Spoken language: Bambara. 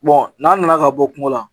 n'an nana ka bɔ kungo la